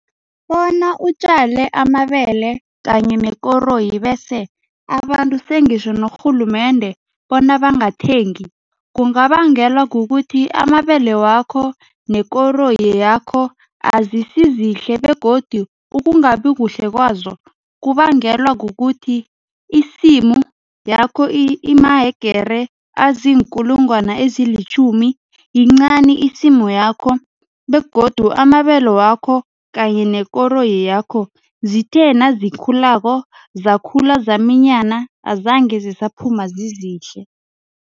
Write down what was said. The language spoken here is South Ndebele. Bona utjale amabele kanye nekoroyi bese abantu sengitjho norhulumende bona bangathengi, kungabangelwa kukuthi amabele wakho nekoroyi yakho azisizihle begodu ukungabi kuhle kwazo kubangelwa kukuthi isimu yakho imahegere aziinkulungwana ezilitjhumi, yincani isimu yakho begodu amabele wakho kanye nekoroyi yakho zithe nazikhulako, zakhula zaminyana azange zisaphuma zizihle.